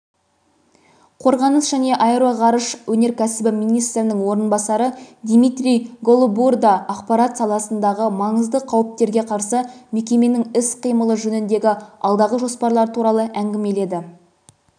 қорғаныс және аэроғарыш өнеркәсібі министрінің орынбасары дмитрий голобурда ақпарат саласындағы маңызды қауіптерге қарсы мекеменің іс-қимылы жөніндегі алдағы жоспарлары туралы әңгімеледі